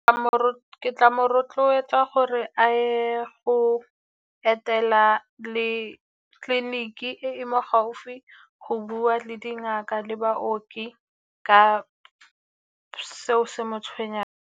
Ke tla mo rotloetsa gore a ye go etela le tleliniki e e mo gaufi go bua le dingaka le baoki ka seo se mo tshwenyang.